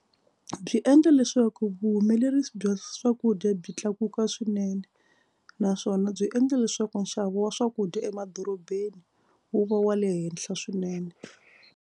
Byi endla leswaku vuhumelerisi bya swakudya byi tlakuka swinene naswona byi endla leswaku nxavo wa swakudya emadorobeni wu va wa le henhla swinene.